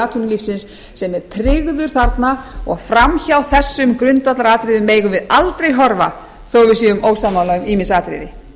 atvinnulífsins sem er tryggður þarna og fram hjá þessum grundvallaratriðum megum við aldrei horfa þó við séum ósammála um ýmis atriði